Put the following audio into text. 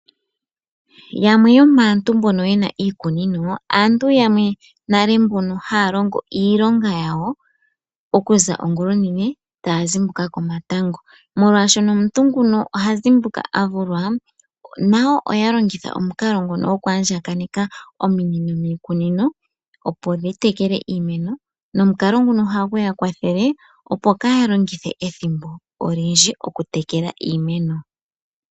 Yamwe yo maantu mboka yena iikunino, aantu yamwe mboka ha ya longo iilonga yawo, oku za ongula onene, ta ya zimbuka komatango. Molwaashono omuntu nguno oha zimbuka avulwa, nayo oya longitha omukalo nguno gwo ku andjaganeka ominino miikunino, opo dhi tekele iimeno, no mukalo mguno oha gu ya kwathele opo yaa ha longithe ethimbo olindji moku tekela iimeno.